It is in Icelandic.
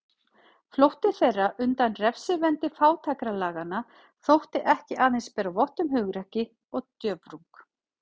Flótti þeirra undan refsivendi fátækralaganna þótti ekki aðeins bera vott um hugrekki og djörfung.